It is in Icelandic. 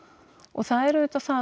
það er auðvitað það